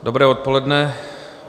Dobré odpoledne.